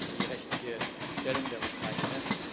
die rechtliche Stellung der Ukraine.